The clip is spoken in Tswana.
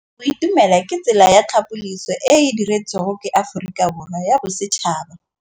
Go itumela ke tsela ya tlhapolisô e e dirisitsweng ke Aforika Borwa ya Bosetšhaba.